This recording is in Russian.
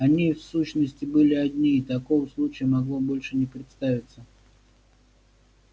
они в сущности были одни и такого случая могло больше не представиться